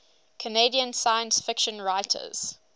canadian science fiction writers